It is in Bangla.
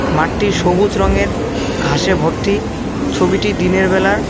মাঠটির সবুজ রঙের ঘাসে ভর্তি ছবিটি দিনের বেলার।